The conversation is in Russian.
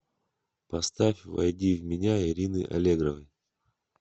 поставь войди в меня ирины аллегровой